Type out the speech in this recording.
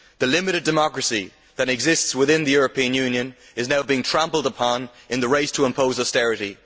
The limited democracy that exists within the European Union is now being trampled upon in the race to impose austerity.